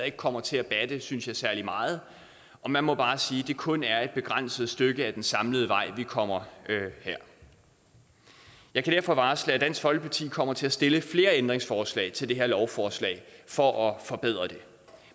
ikke kommer til at batte synes jeg særlig meget og man må bare sige at det kun er et begrænset stykke ad den samlede vej vi kommer her jeg kan derfor varsle at dansk folkeparti kommer til at stille flere ændringsforslag til det her lovforslag for at forbedre det